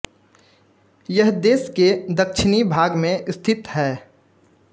यह देश के दक्षिणी भाग में स्थित है